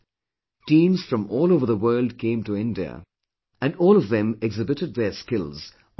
Teams from all over the world came to India and all of them exhibited their skills on the football field